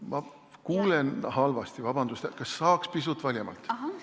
Ma kuulen halvasti, vabandust, kas saaks pisut valjemalt!